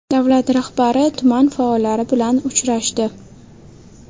Davlat rahbari tuman faollari bilan uchrashdi .